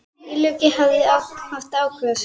Illugi þarf að ákveða sig.